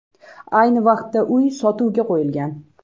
Ayni vaqtda uy sotuvga qo‘yilgan.